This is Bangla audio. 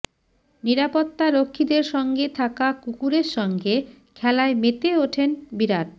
নিরাপত্তারক্ষীদের সঙ্গে থাকা কুকুরের সঙ্গে খেলায় মেতে ওঠেন বিরাট